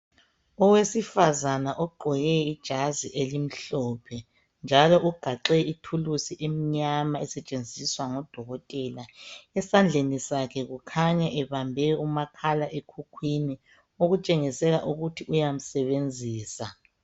Owesifazana ogqoke ijazi elimhlophe njalo ugaxe ithuluzi emnyama esetshenziswa ngudokotela. Esandleni sakhe kukhanya ebambe umakhalekhukhwini okutshengisela ukuthi uyamsebenzisa.